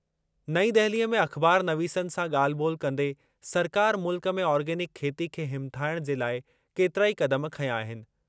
नईं दहिलीअ में अख़बारनवीसनि सां ॻाल्हि ॿोल्हि कंदे सरकार मुल्क में ऑर्गेनिक खेती खे हिमथाइणु जे लाइ केतिरा ई क़दम खंया आहिनि।